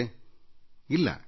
ಎಂದಿಗೂ ಸಿಗುತ್ತಿರಲಿಲ್ಲ